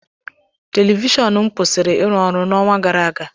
Televishọnu m kwụsịrị ịrụ ọrụ n’ọnwa gara aga.